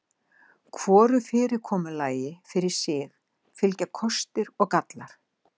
Hvoru fyrirkomulagi fyrir sig fylgja kostir og gallar.